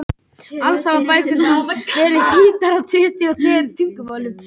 Þeir voru betri en við.